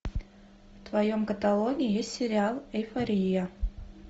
в твоем каталоге есть сериал эйфория